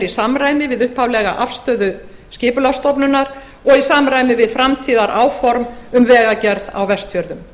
samræmi við upphaflega afstöðu skipulagsstofnunar og í samræmi við framtíðaráform um vegagerð á vestfjörðum